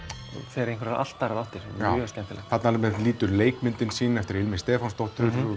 fer í allt aðrar áttir mjög skemmtilegt þarna nýtur leikmyndin sín eftir ilmi Stefánsdóttur hún